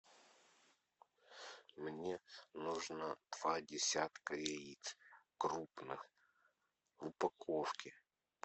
мне нужно два десятка яиц крупных в упаковке